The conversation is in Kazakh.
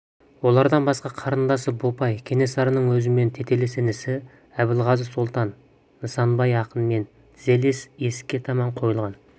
олардан басқа қарындасы бопай кенесарының өзімен тетелес інісі әбілғазы сұлтан нысанбай ақынмен дізелес есікке таман қойылған